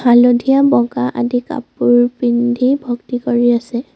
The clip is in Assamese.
হালধীয়া বগা আদি কাপোৰ পিন্ধি ভক্তি কৰি আছে।